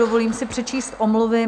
Dovolím si přečíst omluvy.